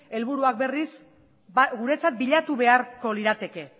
helburuak berriz guretzat bilatu beharko lirateke